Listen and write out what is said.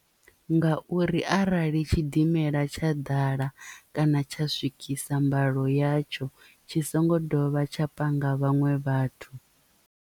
Ngauri arali tshidimela tsha ḓala kana tsha swikisa mbalo yatsho tshi songo dovha tsha panga vhaṅwe vhathu.